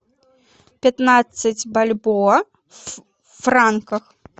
пятнадцать бальбоа в франках